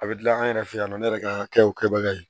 A bɛ dilan an yɛrɛ fɛ yan nɔ ne yɛrɛ ka kɛw kɛbaga ye